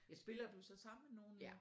Spiller du så sammen med nogen?